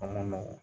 A man nɔgɔn